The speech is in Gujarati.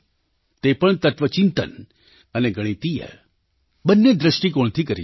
તે પણ તત્ત્વચિંતન અને ગણિતીય બંને દૃષ્ટિકોણથી કરી છે